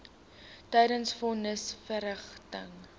tydens von nisverrigtinge